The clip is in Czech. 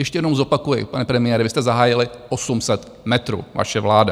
Ještě jednou zopakuji, pane premiére, vy jste zahájili 800 metrů, vaše vláda.